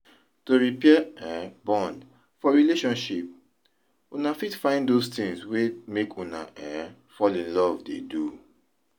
To repair um bond for relationship, una fit find those things wey make una um fall in love dey do